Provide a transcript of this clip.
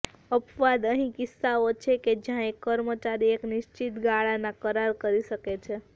અપવાદ અહીં કિસ્સાઓ છે કે જ્યાં એક કર્મચારી એક નિશ્ચિત ગાળાના કરાર કરી શકે છે